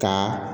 Ka